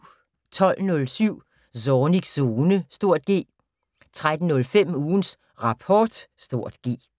12:07: Zornigs Zone (G) 13:05: Ugens Rapport (G)